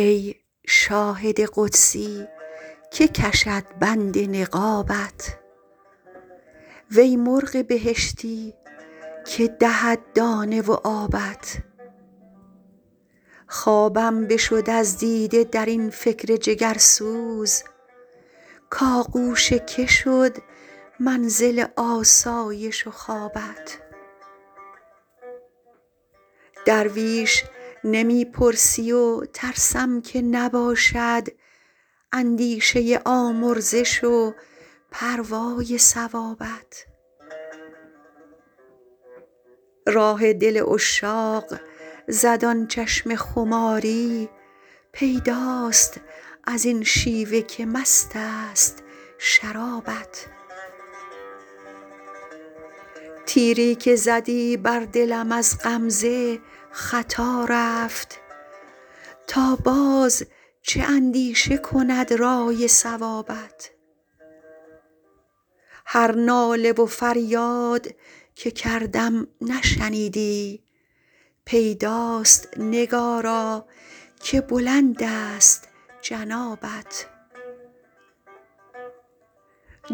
ای شاهد قدسی که کشد بند نقابت وی مرغ بهشتی که دهد دانه و آبت خوابم بشد از دیده در این فکر جگرسوز کآغوش که شد منزل آسایش و خوابت درویش نمی پرسی و ترسم که نباشد اندیشه آمرزش و پروای ثوابت راه دل عشاق زد آن چشم خماری پیداست از این شیوه که مست است شرابت تیری که زدی بر دلم از غمزه خطا رفت تا باز چه اندیشه کند رأی صوابت هر ناله و فریاد که کردم نشنیدی پیداست نگارا که بلند است جنابت